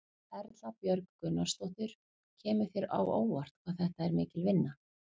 Erla Björg Gunnarsdóttir: Og kemur þér á óvart hvað þetta er mikil vinna?